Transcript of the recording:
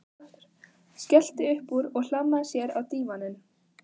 Skellti upp úr og hlammaði sér á dívaninn.